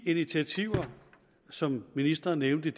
initiativer som ministeren nævnte